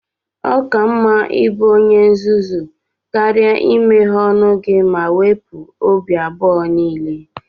Ọ ka mma ịbụ onye nzuzu karịa imeghe ọnụ gị ma wepụ obi abụọ niile.